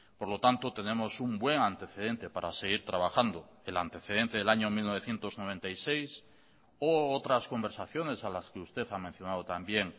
por lo tanto tenemos un buen antecedente para seguir trabajando el antecedente del año mil novecientos noventa y seis o otras conversaciones a las que usted ha mencionado también